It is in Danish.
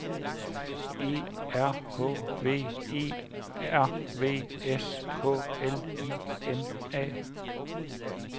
E R H V E R V S K L I M A